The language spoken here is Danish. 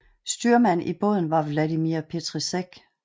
Styrmand i båden var Vladimír Petříček